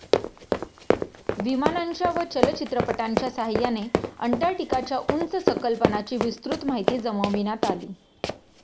विमानांच्या व चलचित्रपटांच्या सहाय्याने अंटार्क्टिकाच्या उंच सकलपणाची विस्तृत माहिती जमविण्यात आली.